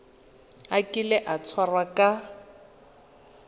a kile a tshwarwa ka